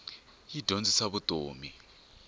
yi dyondzisa ta vutomi